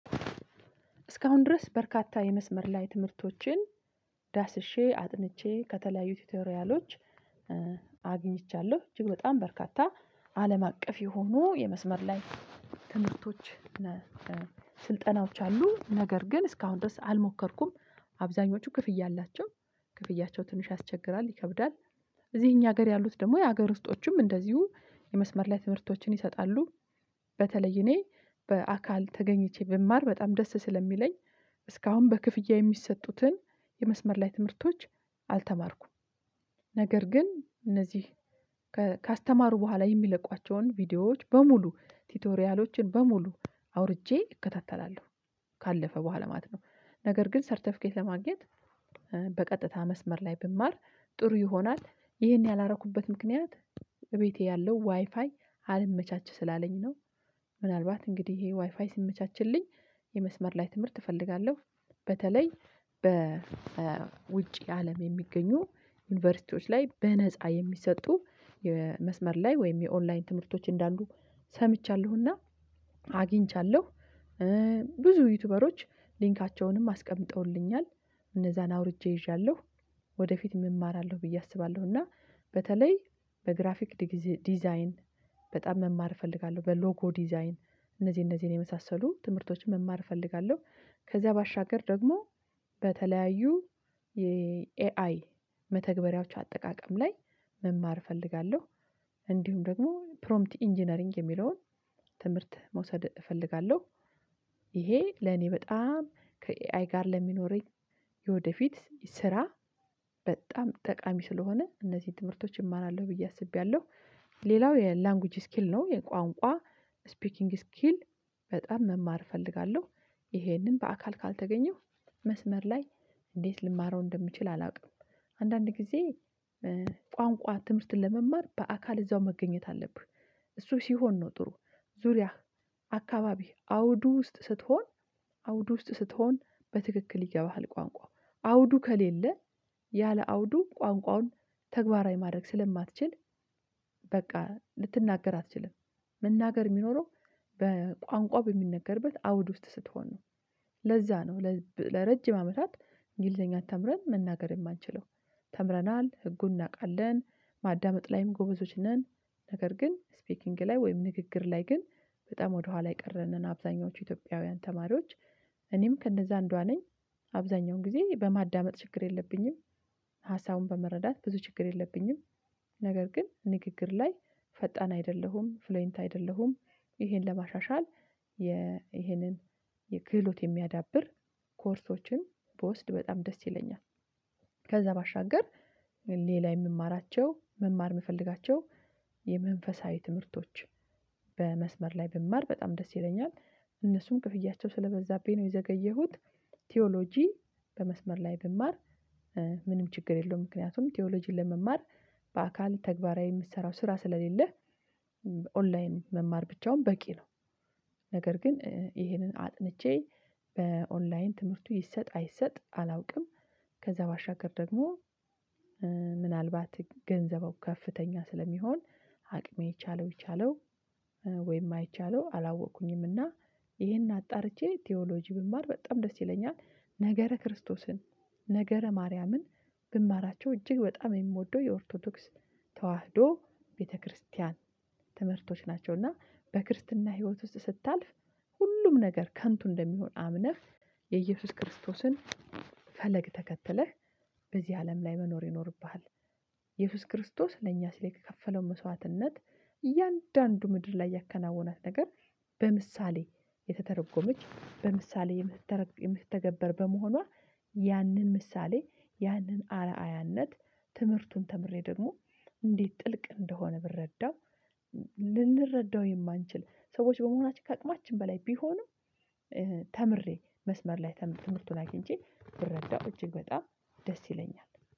እስካሁን ድረስ በርካታ የመስመር ላይ ትምህርቶችን ዳስሼ አጥንቼ ከተለያዩ ቲቶሪያሎች አግኝቻለሁ። እጅግ በጣም በርካታ አለም አቀፍ የሆኑ የመስመር ላይ ትምህርቶች ስልጠናዎች አሉ። ነገር ግን እስካሁን ድረስ አልሞከርኩም። አብዛኞቹ ክፍያ አላቸው ክፍያቸው ትንሽ ያስቸግራል ይከብዳል እዚህ እኛ ሀገር ያሉት ደግሞ የሀገር ውስጦችም እንደዚሁ የመስመር ላይ ትምህርቶችን ይሰጣሉ በተለይ እኔ በአካል ተገኝቼ ብማር በጣም ደስ ስለሚለኝ እስካሁን በክፍያ የሚሰጡትን የመስመር ላይ ትምህርቶች አልተማርኩም። ነገር ግን እነዚህ ካስተማሩ በኋላ የሚለቋቸውን ቪዲዮዎች በሙሉ ቲቶሪያሎችን በሙሉ አውርጄ እከታተላለሁ። ካለፈ በኋላ ማለት ነው። ነገር ግን ሰርተፊኬት ለማግኘት በቀጥታ መስመር ላይ ብማር ጥሩ ይሆናል። ይህን ያላረኩበት ምክንያት ቤቴ ያለው ዋይፋይ አልመቻች ስላለኝ ነው። ምናልባት እንግዲህ ይሄ ዋይፋይ ሲመቻችልኝ የመስመር ላይ ትምህርት እፈልጋለሁ። በተለይ በውጪ አለም የሚገኙ ዩኒቨርሲቲዎች ላይ በነፃ የሚሰጡ የመስመር ላይ ወይም የኦንላይን ትምህርቶች እንዳሉ ሰምቻለሁና አግኝቻለሁ። ብዙ ዩቲዩበሮች ሊንካቸውንም አስቀምጠውልኛል። እነዛን አውርጄ ይዣለሁ። ወደፊት እማራለሁ ብዬ አስባለሁ እና በተለይ በግራፊክ ዲዛይን በጣም መማር እፈልጋለሁ። በሎጎ ዲዛይን እነዚህ እነዚህን የመሳሰሉ ትምህርቶችን መማር እፈልጋለሁ። ከዛ ባሻገር ደግሞ በተለያዩ የኤአይ መተግበሪያዎች አጠቃቀም ላይ መማር እፈልጋለሁ እንዲሁም ደግሞ ፕሮምፕት ኢንጂነሪንግ የሚለውን ትምህርት መውሰድ እፈልጋለሁ። ይሄ ለኔ በጣም ከኤአይ ጋር ለሚኖረኝ የወደፊት ስራ በጣም ጠቃሚ ስለሆነ እነዚህ ትምህርቶች እማራለሁ ብዬ አስቤያለሁ። ሌላው የላንጉጅ ስኪል ነው። የቋንቋ ስፒኪንግ ስኪል በጣም መማር እፈልጋለሁ። ይሄንን በአካል ካልተገኘሁ መስመር ላይ እንዴት ልማረው እንደምችል አላውቅም። አንዳንድ ጊዜ ቋንቋ ትምህርትን ለመማር በአካል እዛው መገኘት አለብህ። እሱ ሲሆን ነው ጥሩ ዙሪያህ አካባቢ አውዱ ውስጥ ስትሆን አውዱ ውስጥ ስትሆን በትክክል ይገባሃል ቋንቋው። አውዱ ከሌለ ያለ አውዱ ቋንቋውን ተግባራዊ ማድረግ ስለማትችል በቃ ልትናገር አትችልም። መናገር ሚኖረው በቋንቋ በሚነገርበት አውድ ውስጥ ስትሆን ነው። ለዛ ነው ለረጅም አመታት እንግሊዘኛ ተምረን መናገር የማንችለው። ተምረናል ህጉን እናውቃለን ማዳመጥ ላይም ጎበዞች ነን ነገር ግን ስፒኪንግ ላይ ወይም ንግግር ላይ ግን በጣም ወደኋላ የቀረን ነን አብዛኞቹ ኢትዮጵያውያን ተማሪዎች። እኔም ከእነዛ አንዷ ነኝ አብዛኛውን ጊዜ በማዳመጥ ችግር የለብኝም ሀሳቡን በመረዳት ብዙ ችግር የለብኝም ነገር ግን ንግግር ላይ ፈጣን አይደለሁም ፍሎይንት አይደለሁም። ይሄን ለማሻሻል ይሄንን የክህሎት የሚያዳብር ኮርሶችን ብወስድ በጣም ደስ ይለኛል። ከዛ ባሻገር ሌላ የምማራቸው መማር ምፈልጋቸው የመንፈሳዊ ትምህርቶች በመስመር ላይ ብማር በጣም ደስ ይለኛል። እነሱም ክፍያቸው ስለበዛብኝ ነው የዘገየሁት ቲዎሎጂ በመስመር ላይ ብማር ምንም ችግር የለውም። ምክንያቱም ቲዎሎጂን ለመማር በአካል ተግባራዊ የምትሰራው ስራ ስለሌለህ ኦንላይን መማር ብቻውን በቂ ነው። ነገር ግን ይሄንን አጥንቼ በኦንላይን ትምህርቱ ይሰጥ አይሰጥ አላውቅም። ከዛ ባሻገር ደግሞ ምናልባት ገንዘቡ ከፍተኛ ስለሚሆን አቅሜ ይቻለው ይቻለው ወይም አይቻለው አላወቅኩኝምና ይሄን አጣርቼ ቲዎሎጂ ብማር በጣም ደስ ይለኛል። ነገረ ክርስቶስን ነገረ ማርያምን ብማራቸው እጅግ በጣም የምወደው የኦርቶዶክስ ተዋህዶ ቤተክርስቲያን ትምህርቶች ናቸውና በክርስትና ህይወት ውስጥ ስታልፍ ሁሉም ነገር ከንቱ እንደሚሆን አምነህ የኢየሱስ ክርስቶስን ፈለግ ተከትለህ በዚህ አለም ላይ መኖር ይኖርብሃል። ኢየሱስ ክርስቶስ ለእኛ ስለከፈለው መስዋዕትነት እያንዳንዱ ምድር ላይ ያከናወናት ነገር በምሳሌ የተተረጎመች በምሳሌ የምትተረ የምትተገበር በመሆኗ ያንን ምሳሌ ያንን አርአያነት ትምህርቱን ተምሬ ደግሞ እንዴት ጥልቅ እንደሆነ ብረዳው ልንረዳው የማንችል ሰዎች በመሆናችን ከአቅማችን በላይ ቢሆንም ተምሬ መስመር ላይ ትምህርቱን አግኝቼ ብረዳው እጅግ በጣም ደስ ይለኛል።